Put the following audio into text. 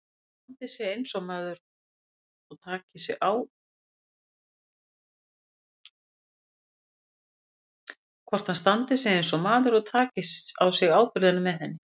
Hvort hann standi sig eins og maður og taki á sig ábyrgðina með henni.